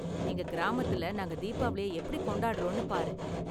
எங்க கிராமத்துல நாங்க தீபாவளிய எப்படி கொண்டாடுறோம்னு பாரு.